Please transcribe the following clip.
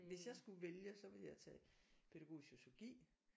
Hvis jeg skulle vælge så ville jeg tage pædagogisk sociologi